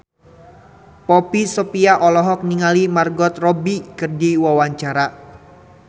Poppy Sovia olohok ningali Margot Robbie keur diwawancara